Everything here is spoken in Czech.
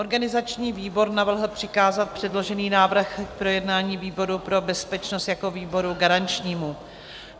Organizační výbor navrhl přikázat předložený návrh k projednání výboru pro bezpečnost jako výboru garančnímu.